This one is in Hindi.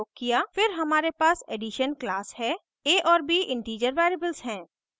फिर हमारे पास addition class है a और b integer variables हैं